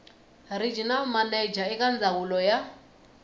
regional manager eka ndzawulo ya